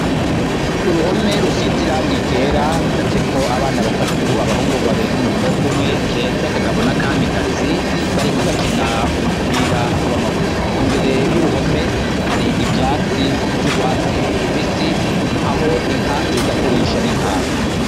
Uruhome rusize irangi ryera rucafyeko abana batatu, abahungu babiri n'umukobwa umwe, keza, kagabo, na kamikazi, bariko bakina umupira w'amaguru, imbere y'uruhome hari ivyatsi vy'urwatsi rubisi aho inka ziza kurisha n'intama.